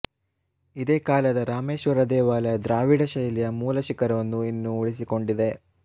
ಇದೇ ಕಾಲದ ರಾಮೇಶ್ವರ ದೇವಾಲಯ ದ್ರಾವಿಡಶೈಲಿಯ ಮೂಲ ಶಿಖರವನ್ನು ಇನ್ನೂ ಉಳಿಸಿಕೊಂಡಿದೆ